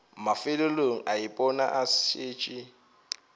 mafelelong a ipona a šetše